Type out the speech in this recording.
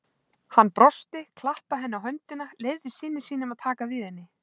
Hann brosti, klappaði henni á höndina, leyfði syni sínum að taka við henni.